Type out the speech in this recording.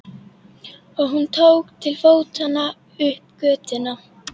Og hún tók til fótanna upp götuna.